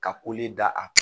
Ka kolen da